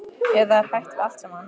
Eða er hætt við allt saman?